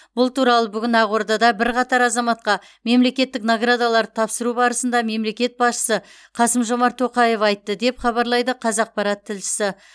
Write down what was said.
бұл туралы бүгін ақордада бірқатар азаматқа мемлекеттік наградаларды тапсыру барысында мемлекет басшысы қасым жомарт тоқаев айтты деп хабарлайды қазақпарат тілшісі